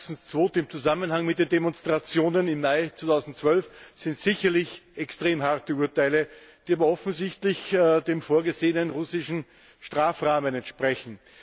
24. Februar im Zusammenhang mit den Demonstrationen im Mai 2012 sind sicherlich extrem harte Urteile, die aber offensichtlich dem vorgesehenen russischen Strafrahmen entsprechen.